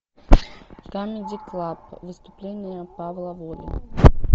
камеди клаб выступление павла воли